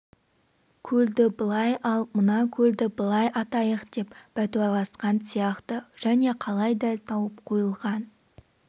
көлді былай ал мына көлді былай атайық деп бәтуаласқан сияқты және қалай дәл тауып қойылған